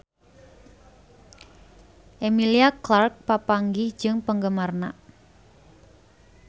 Emilia Clarke papanggih jeung penggemarna